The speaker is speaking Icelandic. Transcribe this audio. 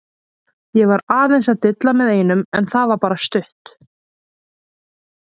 Ég var aðeins að dilla með einum en það var bara stutt.